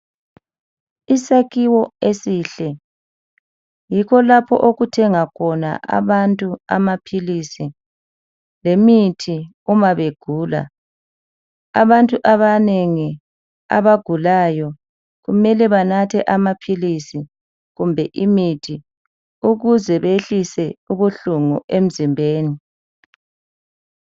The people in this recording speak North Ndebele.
Isakhiwo esihle, yikho lapho okuthenga khona abantu amapilisi lemithi uma begula. Abantu abanengi abagulayo kumele banathE amapilisi kumbe imithi ukze bahlise ubuhlungu emzimbeni.